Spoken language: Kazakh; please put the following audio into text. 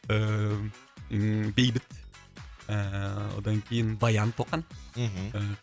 ыыы бейбіт ыыы одан кейін баян тоқан мхм ыыы